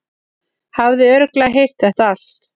Hafði örugglega heyrt þetta allt.